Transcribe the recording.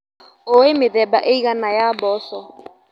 ũĩ mĩthemba ĩigana ya mboco.